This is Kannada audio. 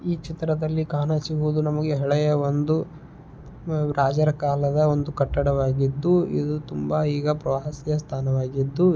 ಈ ಚಿತ್ರದಲ್ಲಿ ಕಾಣಿಸುತ್ತಿರುವುದು ನಮಗೆ ಹಳೆಯ ಒಂದು ರಾಜರ ಕಾಲದ ಒಂದು ಕಟ್ಟಡವಾಗಿದ್ದು ಇದು ತುಂಬಾ ಈಗ ಪ್ರವಾಸಿ ಸ್ಥಳವಾಗಿದ್ದು.